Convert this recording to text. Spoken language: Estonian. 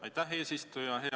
Aitäh, eesistuja!